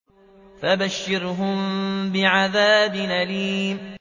فَبَشِّرْهُم بِعَذَابٍ أَلِيمٍ